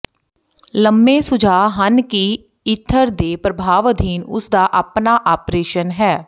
ਲੰਮੇ ਸੁਝਾਅ ਹਨ ਕਿ ਈਥਰ ਦੇ ਪ੍ਰਭਾਵ ਅਧੀਨ ਉਸ ਦਾ ਆਪਣਾ ਆਪਰੇਸ਼ਨ ਹੈ